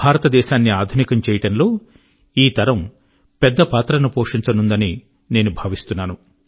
భారతదేశాన్ని ఆధునికం చేయడం లో ఈ తరం పెద్ద పాత్ర ను పోషించనుందని నేను భావిస్తున్నాను